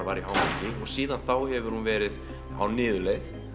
var í hámarki síðan þá hefur hún verið á niðurleið